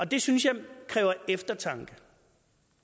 det synes jeg kræver eftertanke